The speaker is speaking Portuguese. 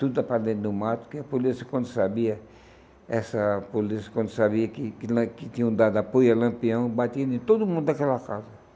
Tudo para dentro do mato, que a polícia, quando sabia, essa polícia, quando sabia que que que tinham dado apoio a Lampião, batia em todo mundo daquela casa.